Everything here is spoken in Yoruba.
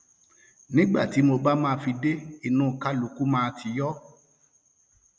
nígbà tí mo bá máa fi dé inú kálukú máa ti yọ